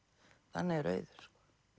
þannig er Auður